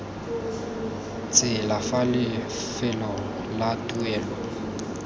tsela fa lefelong la tuelo